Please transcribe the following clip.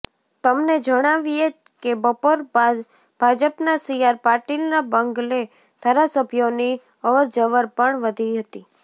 તમને જણાવીએ કે બપોર બાદ ભાજપના સીઆર પાટીલના બંગલે ધારાસભ્યોની અવરજવર પણ વધી હતી